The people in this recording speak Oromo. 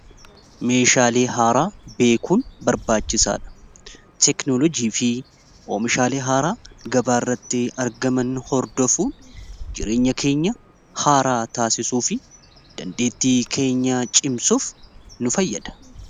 meeshaalee haaraa beekuun barbaachisaadha teknolojii fi omishaalee haaraa gabaarratti argaman hordofuun jireenya keenya haaraa taasisuu fi dandeettii keenyaa cimsuuf nu fayyada